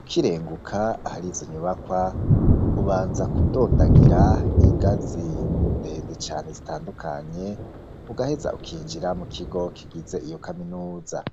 ukirenguka ahari izo nyubakwa ubanza kudondagira ingazi ndende cane zitandukanye, ugaheza ukinjira mu kigo kigize iyo kaminuza.